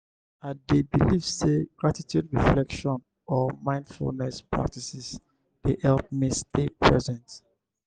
i dey believe say gratitude reflection or mindfulness practices dey help me stay present.